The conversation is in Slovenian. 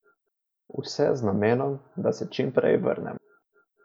Vse z namenom, da se čim prej vrnem.